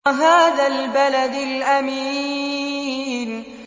وَهَٰذَا الْبَلَدِ الْأَمِينِ